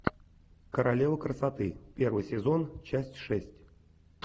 королева красоты первый сезон часть шесть